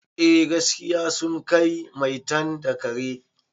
Eh gaskiya sun kai maitan da kare